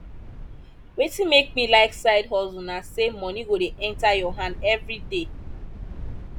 wetin make me like side hustle na sey moni go dey enta your hand everyday